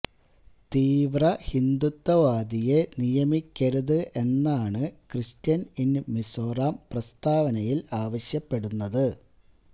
തീവ്ര ഹിന്ദുത്വവാദിയെ നിയമിക്കരുത് എന്നാണ് ക്രിസ്ത്യന് ഇന് മിസോറം പ്രസ്താവനയില് ആവശ്യപ്പെടുന്നത്